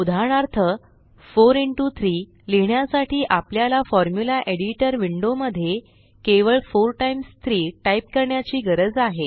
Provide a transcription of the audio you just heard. उदाहरणार्थ 4 इंटो 3 लिहिण्यासाठी आपल्याला फॉर्म्युला एडिटर विंडो मध्ये केवळ 4 टाईम्स 3 टाइप करण्याची गरज आहे